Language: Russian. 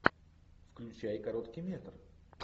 включай короткий метр